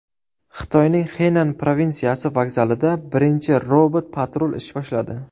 Xitoyning Xenan provinsiyasi vokzalida birinchi robot-patrul ish boshladi.